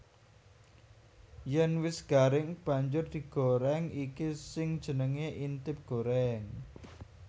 Yèn wis garing banjur digorèng iki sing jenengé intip gorèng